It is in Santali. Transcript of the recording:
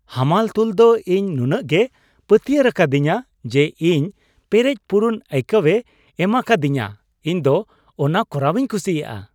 ᱦᱟᱢᱟᱞ ᱛᱩᱞ ᱫᱚ ᱤᱧ ᱱᱩᱱᱟᱹᱜᱮ ᱯᱟᱹᱛᱭᱟᱹᱨᱟᱠᱟᱫᱤᱧᱟ ᱡᱮ ᱤᱧ ᱯᱮᱨᱮᱡ ᱯᱩᱨᱩᱱ ᱟᱹᱭᱠᱟᱹᱣᱮ ᱮᱢᱟᱠᱟᱫᱤᱧᱟ ᱾ ᱤᱧ ᱫᱚ ᱚᱱᱟ ᱠᱚᱨᱟᱣᱤᱧ ᱠᱩᱥᱤᱭᱟᱜᱼᱟ ᱾